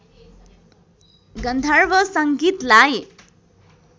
गन्धर्व सङ्गीतलाई